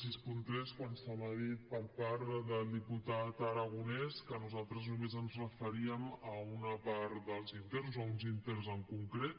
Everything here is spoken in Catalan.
seixanta tres quan se m’ha dit per part del diputat aragonés que nosaltres només ens referíem a una part dels interns a uns interns en concret